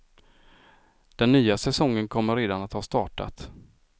Den nya säsongen kommer redan att ha startat.